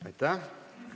Aitäh!